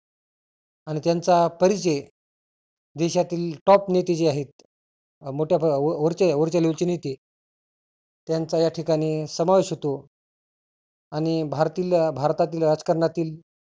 आणि त्यांचा परिचय देशातील top नेते जे आहेत. मोठ्या वरचे वरच्या level चे नेते त्यांचा याठिकाणी समावेश होतो. आणि भारतील भारतातील राजकारणातील